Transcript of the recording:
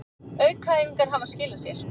Aukaæfingarnar hafa skilað sér